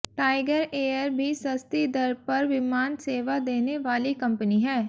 tiger Air भी सस्ती दर पर विमान सेवा देने वाली कंपनी है